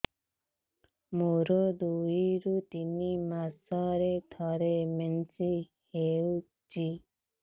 ମୋର ଦୁଇରୁ ତିନି ମାସରେ ଥରେ ମେନ୍ସ ହଉଚି